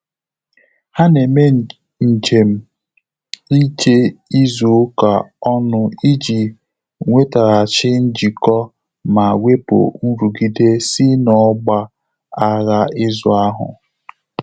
Há nà-émé njém íjé ízù ụ́ká ọ́nụ̀ ìjí nwètághàchí njìkọ́ mà wépụ̀ nrụ́gídé sí n’ọ́gbà ághá ízù áhụ́.